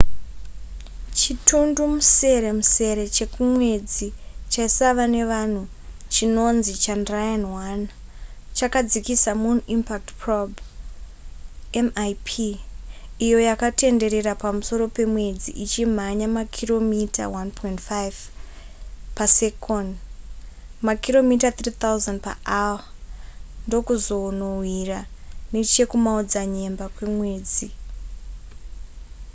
chitundumuseremusere chekumwedzi chaisava nevanhu chinonzi chandrayaan-1 chakadzikisa moon impact probe mip iyo yakatenderera pamusoro pemwedzi ichimhanya makiromita 1.5 pasekoni makiromita 3000 paawa ndokuzonowira nechekumaodzanyemba kwemwedzi